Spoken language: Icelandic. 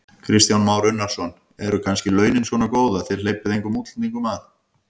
Kristján Már Unnarsson: Eru kannski launin svona góð að þið hleypið engum útlendingum að?